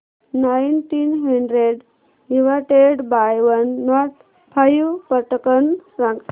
nineteen hundred divided by one nought five पटकन सांग